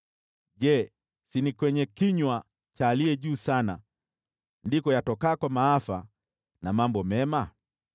Je, si ni kwenye kinywa cha Aliye Juu Sana ndiko yatokako maafa na mambo mema?